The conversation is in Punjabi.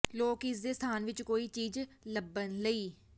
ਲੋਕ ਇਸ ਦੇ ਸਥਾਨ ਵਿੱਚ ਕੋਈ ਚੀਜ਼ ਲੱਭਣ ਲਈ